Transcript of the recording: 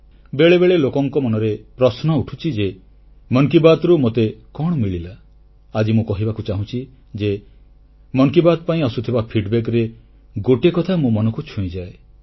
ବେଳେବେଳେ ଲୋକଙ୍କ ମନରେ ପ୍ରଶ୍ନ ଉଠୁଛି ଯେ ମନ କି ବାତ୍ରୁ ମୋତେ କଣ ମିଳିଲା ଆଜି ମୁଁ କହିବାକୁ ଚାହୁଁଛି ଯେ ମନ କି ବାତ୍ ପାଇଁ ଆସୁଥିବା ଅଭିମତରେ ଗୋଟିଏ କଥା ମୋ ମନକୁ ଛୁଇଁଯାଏ